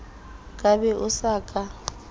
ka be o sa ka